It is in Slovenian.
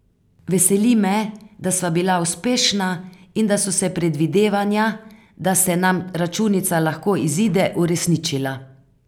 Veseli me, da sva bila uspešna in da so se predvidevanja, da se nam računica lahko izide, uresničila.